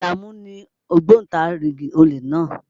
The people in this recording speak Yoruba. Àlàmú ni ògbóntarigìdì olè náà.